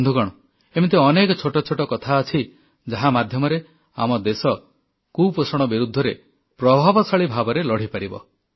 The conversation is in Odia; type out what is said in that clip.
ବନ୍ଧୁଗଣ ଏମିତି ଛୋଟ ଛୋଟ ଅନେକ କଥା ଅଛି ଯାହା ମାଧ୍ୟମରେ ଆମ ଦେଶ କୁପୋଷଣ ବିରୁଦ୍ଧରେ ପ୍ରଭାବଶାଳୀ ଭାବରେ ଲଢ଼ିପାରିବ